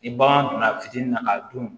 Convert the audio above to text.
Ni bagan donna fitinin na k'a dun